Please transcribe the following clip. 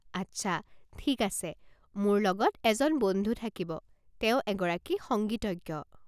আচ্ছা, ঠিক আছে। মোৰ লগত এজন বন্ধু থাকিব, তেওঁ এগৰাকী সংগীতজ্ঞ।